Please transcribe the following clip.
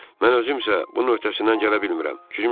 Mən özüm isə bunun öhdəsindən gələ bilmirəm.